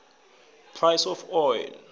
price of oil